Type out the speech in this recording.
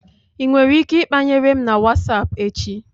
I nwere ike ikpanyere m na WhatsApp echi.